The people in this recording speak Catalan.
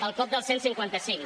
el cop del cent i cinquanta cinc